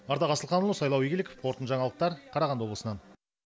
ардақ асылханұлы сайлау игіліков қорытынды жаңалықтар қарағанды облысынан